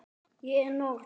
Ég er norn.